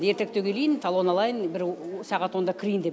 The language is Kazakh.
ертеректеу келейін талон алайын бір сағат онда кірейін деп